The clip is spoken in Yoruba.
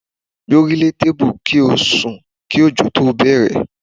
Gbórílé tébù kí ó sùn kí ọ̀jọ̀ tó bẹ̀rẹ̀.